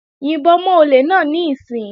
Yìnbọn mọ́ olè náà níìsín!